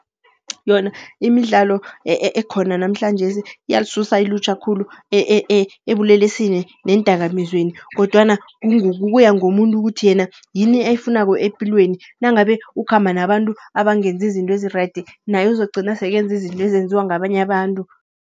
Yona imidlalo ekhona namhlanjesi, iyalisusa ilutjha khulu ebulelesini neendakamizweni. Kodwana kuya ngomuntu ukuthi yena yini ayifunako epilweni. Nangabe ukhamba nabantu abangenzi izinto ezirayidi, naye uzokugcina sekenza izinto ezenziwa ngabanye abantu.